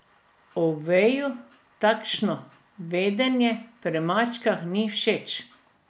Oveju takšno vedenje pri mačkah ni všeč.